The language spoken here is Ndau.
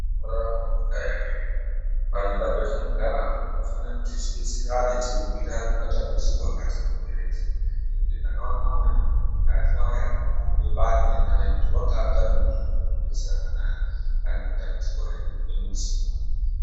Unorarama munyika yake ega. Panyika petinogara apa tinofanira kuti tidetserane, teibhuyirane matambudziko akatikomberedza, ngekuti ndakaona umweni muntu wakatwaya, wakarumba bani ngekuti wanga atame muntu weunodetserana naye pane matambudziko ari mudzimba.